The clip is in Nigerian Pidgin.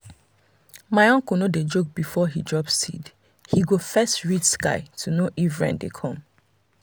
my uncle no dey joke before he drop seed he go first read sky to know if rain dey come.